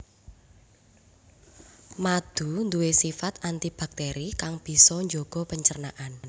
Madu nduwe sifat anti baktéri kang bisa njaga pencernaan